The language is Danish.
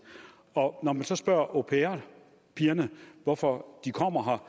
når man så spørger au pair pigerne hvorfor de kommer her